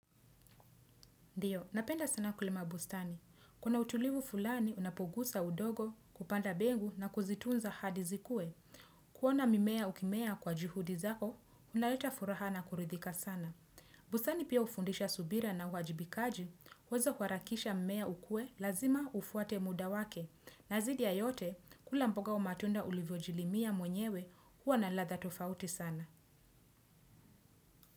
Ndiyo, napenda sana kulima bustani. Kuna utulivu fulani, unapogusa udogo, kupanda bengu na kuzitunza hadi zikue. Kuona mimea ukimea kwa juhudi zako, unaleta furaha na kuridhika sana. Bustani pia ufundisha subira na uajibikaji, uwezi kwa kuharakisha mmea ukue, lazima ufuate muda wake. Na zidi ya yote, kula mboga au matunda ulivyojilimia mwenyewe huwa na ladha tofauti sana.